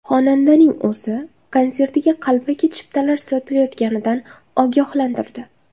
Xonandaning o‘zi konsertiga qalbaki chiptalar sotilayotganidan ogohlantirdi.